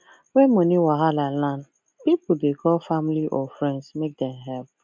when money wahala land people dey call family or friends make them help